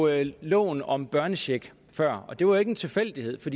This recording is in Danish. jeg loven om børnecheck før og det var ikke en tilfældighed for